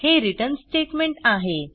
हे return statement आहे